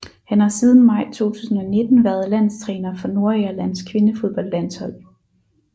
Han har siden maj 2019 været landstræner for Nordirlands kvindefodboldlandshold